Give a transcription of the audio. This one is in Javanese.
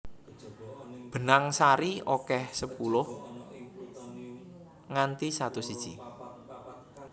Benang sari akeh sepuluh nganti satus iji